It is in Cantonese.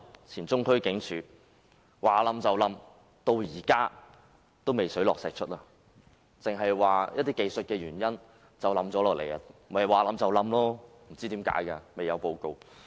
前中區警署的外牆倒塌事故，至今仍未水落石出；古蹟辦只表示出於一些技術問題倒塌，未有發表報告述明原因。